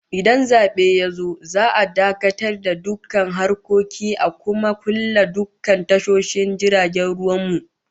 Idan zabe yazo, za'a dakatar da dukkan harkoki a kuma kulle kulle dukkan tashoshin jiragen ruwan mu